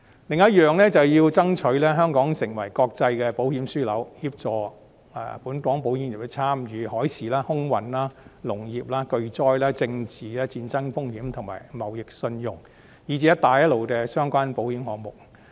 另一點是要爭取香港成為國際保險樞紐，協助本港保險業參與海事、空運、農業、巨災、政治、戰爭風險及貿易信用，以至"一帶一路"相關的保險項目。